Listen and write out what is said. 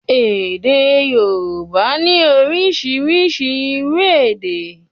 Èdè Yorùbá ní orísirísi irú èdè